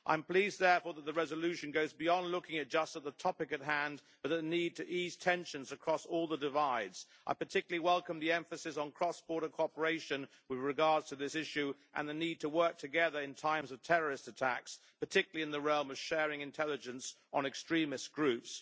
I am pleased, therefore, that the resolution goes beyond looking just at the topic at hand, but at the need to ease tensions across all the divides. I particularly welcome the emphasis on cross border cooperation with regard to this issue, and the need to work together in times of terrorist attacks, particularly in the realm of sharing intelligence on extremist groups.